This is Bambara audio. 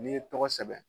N'i ye tɔgɔ sɛbɛn